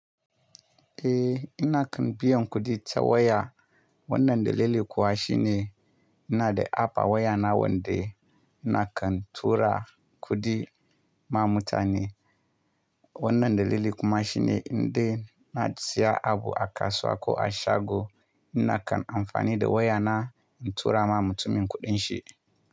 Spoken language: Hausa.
Eh, ina kan biyan kuɗi ta waya. Wannan dalili kuwa shi ne, ina da app a waya na wanda ina kan tura kuɗi ma mutane. Wannan dalili kuma shi ne, in dai na siya abu a kasuwa ko a shago, ina kan amfani da waya na in tura ma mutumin kuɗin shi.